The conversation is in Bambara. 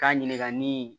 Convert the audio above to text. K'a ɲininka ni